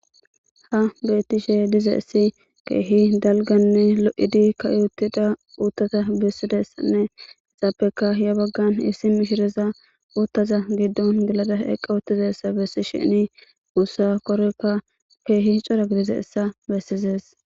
Haysan betishe dizays keeh dalgane lo'id ka'i utida uutata besidaysane izappeka he bagan issi mishiraza utaza gidon gelada eqi utidaysa besishin uta koroykka Keehi cora dididaysa besizaysa